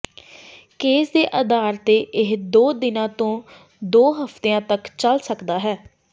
case ਦੇ ਆਧਾਰ ਤੇ ਇਹ ਦੋ ਦਿਨਾਂ ਤੋਂ ਦੋ ਹਫ਼ਤਿਆਂ ਤੱਕ ਚੱਲ ਸਕਦਾ ਹੈ